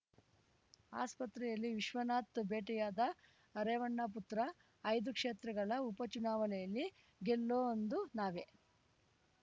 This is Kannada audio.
ಆಸ್ಪತ್ರೆಯಲ್ಲಿ ವಿಶ್ವನಾಥ್‌ ಭೇಟಿಯಾದ ರೇವಣ್ಣ ಪುತ್ರ ಐದು ಕ್ಷೇತ್ರಗಳ ಉಪ ಚುನಾವಣೆಯಲ್ಲಿ ಗೆಲ್ಲೊಂದು ನಾವೇ